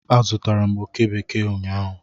Azụtara m oke bekee ụnyaahụ.